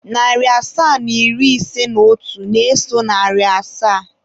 Narị asaa na iri ise na otu na-eso narị asaa.